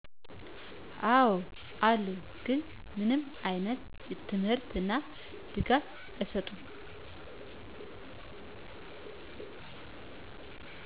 አው አሉ ግን ምንም አይነት ትምህርት እና ድጋፍ አይሰጡም